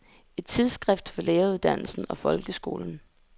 Et tidsskrift for læreruddannelsen og folkeskolen.